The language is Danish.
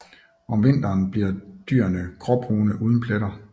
Om vinteren bliver dyrene gråbrune uden pletter